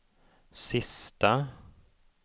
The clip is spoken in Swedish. sista